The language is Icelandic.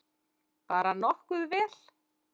Bara nokkuð vel.